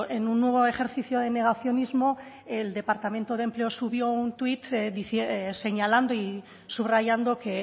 en un nuevo ejercicio de negacionismo el departamento de empleo subió un twitt señalando y subrayando que